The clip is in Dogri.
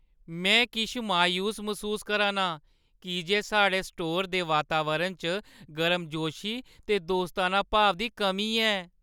में किश मायूस मसूस करा ना आं की जे साढ़े स्टोरै दे वातावरण च गर्मजोशी ते दोस्ताना भाव दी कमी ऐ।